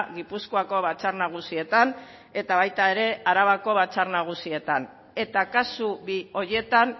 gipuzkoako batzar nagusietan eta baita ere arabako batzar nagusietan eta kasu bi horietan